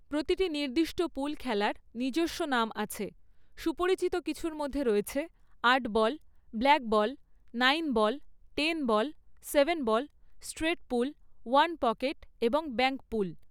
প্রতিটি নির্দিষ্ট পুল খেলার নিজস্ব নাম আছে; সুপরিচিত কিছুর মধ্যে রয়েছে আট ball, blackball, nine ball, ten ball, seven ball, straight pool, one pocket এবং ব্যাঙ্ক পুল।